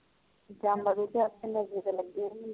ਜਮਾਰੂਤੇ ਲਗੇ ਨਸ਼ੇ ਤੇ ਲਗੇ